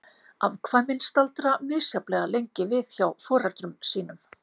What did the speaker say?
Afkvæmin staldra misjafnlega lengi við hjá foreldrum sínum.